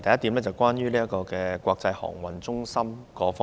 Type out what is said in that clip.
第一點，關於國際航運中心。